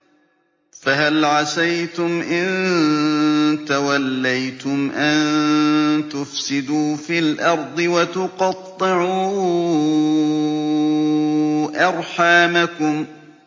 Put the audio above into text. فَهَلْ عَسَيْتُمْ إِن تَوَلَّيْتُمْ أَن تُفْسِدُوا فِي الْأَرْضِ وَتُقَطِّعُوا أَرْحَامَكُمْ